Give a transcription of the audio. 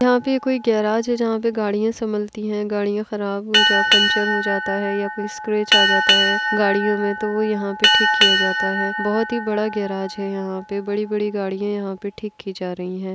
यहां पर कोई गेराज है जहां पर गाड़ियां से समलती हैं गाड़ियां खराब हो जाती है पंचर हो जाता है या कोई स्क्रेच आ जाता है गाड़ियों में तो यहां ठीक किया जाता है बहुत ही बड़ा गैराज है यहाँ पे बड़ी-बड़ी गाड़ियां हैं यहाँ पे ठीक की जा रही है।